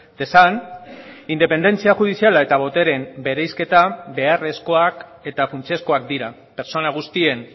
dezan independentzia judiziala eta boteren bereizketa beharrezkoak eta funtsezkoak dira pertsona guztien